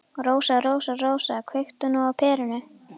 Rósa, Rósa, Rósa, kveiktu nú á perunni.